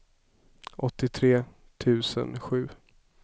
åttiotre tusen sju